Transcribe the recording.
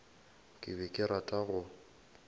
ke be ke rata go